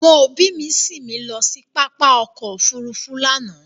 Àwọn ọbí mi sín mi lọ sí pápá ọkọ̀ òfurufú lánàá